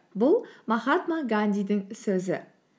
бұл махатма гандидің сөзі